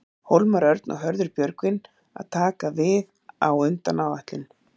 Hólmar Örn og Hörður Björgvin að taka við á undan áætlun?